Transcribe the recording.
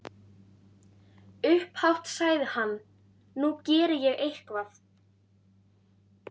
Upphátt sagði hann: Nú geri ég eitthvað.